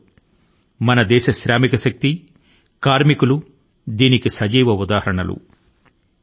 నేడు మన దేశ కార్మిక సోదరులు ఈ మంత్రాని కి ప్రతిరూపాలు గా ఉన్నారు